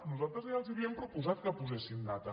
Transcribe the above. nosaltres ja els havíem proposat que posessin data